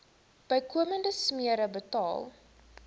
bykomende smere betaal